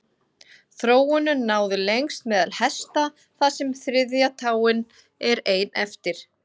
þróunin náði lengst meðal hesta þar sem þriðja táin er ein eftir